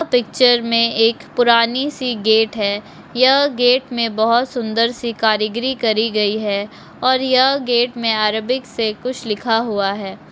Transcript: Picture मे एक पुरानी सी गेट है यह गेट में बहोत सुन्दर सी कारीगिरी करी गई है और यह गेट में अरबिक से कुछ लिखा हुआ है।